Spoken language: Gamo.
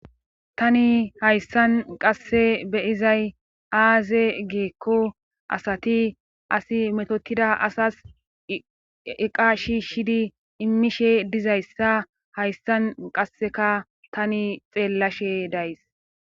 tani hayssan qasse be'izay aaze geekko asati asi metotida asas eqa shishidi immishe dizayssa hayssan qasseka tani xeellashe days